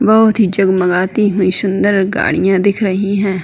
बहोत ही जगमगाती हुई शुन्दर गाड़िया दिख रहीं है।